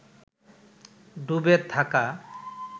ডুবে থাকা